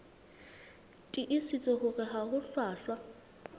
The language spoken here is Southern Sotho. tiisitse hore ha ho hlwahlwa